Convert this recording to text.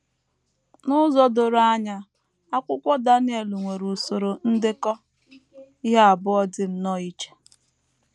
N’ụzọ doro anya, akwụkwọ Daniel nwere usoro ndekọ ihe abụọ dị nnọọ iche.